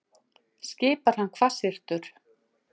skipar hann hvassyrtur.